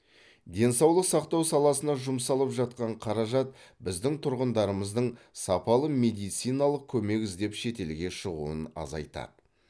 денсаулық сақтау саласына жұмсалып жатқан қаражат біздің тұрғындарымыздың сапалы медициналық көмек іздеп шетелге шығуын азайтады